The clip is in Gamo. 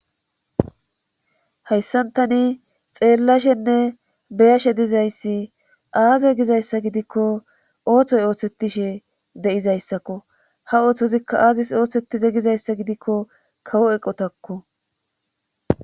Hayssantani xeellashenne beyashe dizayssi aaze gizayssa gidikko ooththoy ooththettishe de7izayssakko ha ooththozikka aazis ooththetize gizayssa gidikko kawo eqotakko.